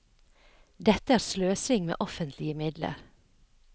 Dette er sløsing med offentlige midler.